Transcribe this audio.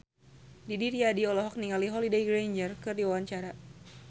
Didi Riyadi olohok ningali Holliday Grainger keur diwawancara